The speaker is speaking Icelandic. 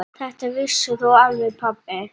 Þetta vissir þú alveg pabbi.